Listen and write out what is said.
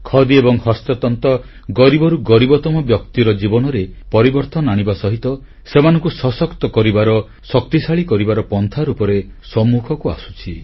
ଖଦି ଏବଂ ହସ୍ତତନ୍ତ ଗରିବରୁ ଗରିବତମ ବ୍ୟକ୍ତିର ଜୀବନରେ ପରିବର୍ତ୍ତନ ଆଣିବା ସହିତ ସେମାନଙ୍କୁ ସଶକ୍ତ କରିବାର ଶକ୍ତିଶାଳୀ କରିବାର ପନ୍ଥା ରୂପେ ସମ୍ମୁଖକୁ ଆସୁଛି